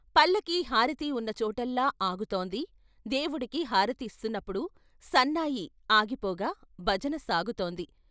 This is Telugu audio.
పల్లకి హారతి ఉన్న చోటల్లా ఆగుతోంది దేవుడికి హారతి ఇస్తున్నప్పుడు సన్నాయి ఆగిపోగా భజన సాగుతోంది.